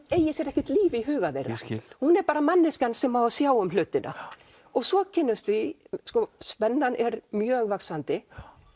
eigi sér ekkert líf í huga þeirra hún er bara manneskjan sem á að sjá um hlutina svo kynnumst við sko spennan er mjög vaxandi